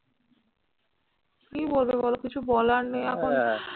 কি বলবে বল কিছু বলার নেই এখন